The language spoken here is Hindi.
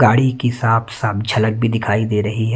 गाड़ी की साफ साफ झलक भी दिखाई दे रही है।